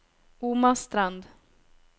Omastrand